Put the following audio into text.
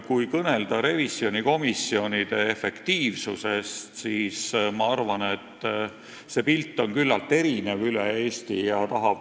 Kui kõnelda revisjonikomisjonide efektiivsusest, siis ma arvan, et see pilt on üle Eesti küllaltki erinev.